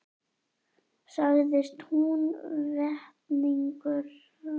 Sagðist Húnvetningur hafa séð undan rúminu hvar glampaði á öxi.